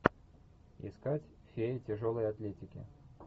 искать фея тяжелой атлетики